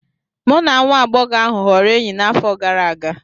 Mụ na nwa agbọghọ ahụ ghọrọ enyi n'afọ gara aga